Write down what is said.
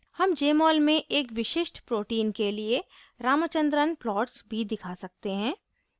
हम jmol में एक विशिष्ट protein के लिए ramachandran plots भी दिखा सकते हैं